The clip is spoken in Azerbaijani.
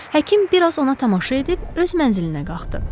Həkim biraz ona tamaşa edib öz mənzilinə qalxdı.